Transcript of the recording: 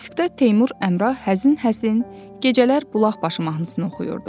Diskdə Teymur Əmrah həzin-həzin gecələr bulaq başı mahnısını oxuyurdu.